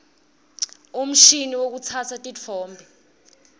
umshini wekutsatsa titfombe